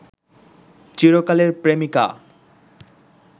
চিরকালের প্রেমিকা